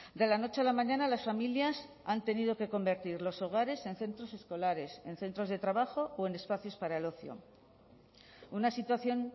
de la noche a la mañana las familias han tenido que convertir los hogares en centros escolares en centros de trabajo o en espacios para el ocio una situación